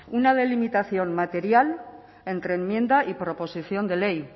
una delimitación material entre enmienda y proposición de ley